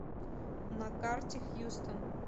на карте хьюстон